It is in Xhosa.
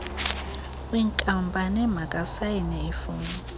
kwinkampani makasayine iifom